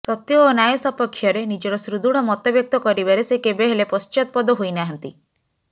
ସତ୍ୟ ଓ ନ୍ୟାୟ ସପକ୍ଷରେ ନିଜର ସୁଦୃଢ ମତବ୍ୟକ୍ତ କରିବାରେ ସେ କେବେହେଲେ ପଶ୍ଚାତପଦ ହୋଇନାହାନ୍ତି